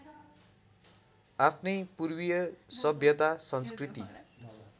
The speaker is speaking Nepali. आफ्नै पूर्वीय सभ्यता संस्कृति